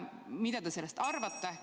Mida te sellest arvate?